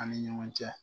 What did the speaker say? An ni ɲɔgɔn cɛ